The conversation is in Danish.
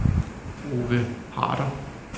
Ove Harder